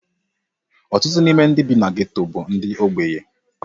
Ọtụtụ n'ime ndị bi na geto bụ ndị ogbenye.